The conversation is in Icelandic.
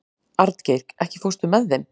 Arngeir, ekki fórstu með þeim?